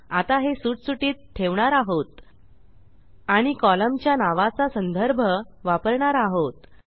आता हे सुटसुटीत ठेवणार आहोत आणि कॉलमच्या नावाचा संदर्भ वापरणार आहोत